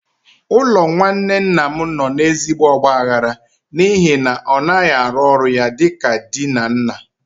Ụlọ nwanne nna m nọ n'ezigbo ọgbaghara n'ihi na ọ naghị arụ ọrụ ya dị ka di na nna.